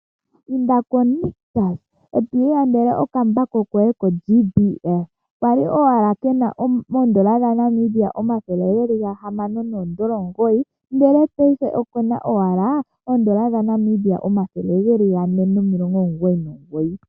Inda ko Nictus eto ilandele okambako koye ko JBL, kali owala kena N$ 609 ndele paife okena owala N$ 499.